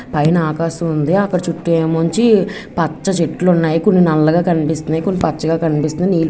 పైన ఆకాశముంది అక్కడ చుట్టూ నుంచి పచ్చ చెట్లు ఉన్నాయి కొన్ని నల్లగా కనిపిస్తున్నాయి కొన్ని పచ్చగా కనిపిస్తున్నాయి నీల్--